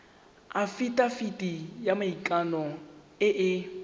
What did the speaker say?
afitafiti ya maikano e e